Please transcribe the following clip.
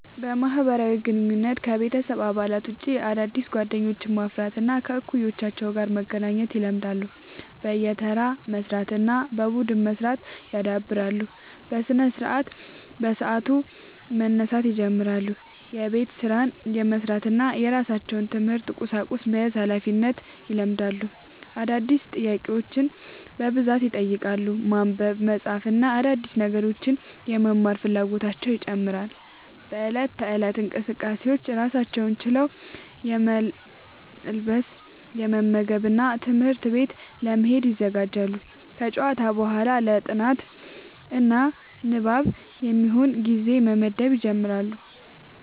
በማህበራዊ ግንኙነት: ከቤተሰብ አባላት ውጭ አዳዲስ ጓደኞችን ማፍራት እና ከእኩዮቻቸው ጋር መገናኘት ይለምዳሉ። በየተራ መስራት እና በቡድን መስራት ያዳብራሉ። በስነስርዓት : በሰዓቱ መነሳት ይጀምራሉ። የቤት ስራን የመስራት እና የራሳቸውን የትምህርት ቁሳቁስ መያዝ ሀላፊነትን ይለማመዳሉ። አዳዲስ ጥያቄዎችን በብዛት ይጠይቃሉ። ማንበብ፣ መጻፍ እና አዳዲስ ነገሮችን የመመርመር ፍላጎታቸው ይጨምራል።. በእለት ተእለት እንቅስቃሴዎች: ራሳቸውን ችለው የመልበስ፣ የመመገብ እና ትምህርት ቤት ለመሄድ ይዘጋጃሉ። ከጨዋታ በኋላ ለ ጥናት እና ንባብ የሚሆን ጊዜ መመደብ ይጀምራሉ።